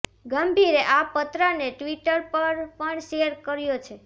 ગંભીરે આ પત્રને ટ્વિટર પર પણ શેર કર્યો છે